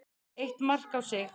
Eitt mark á sig.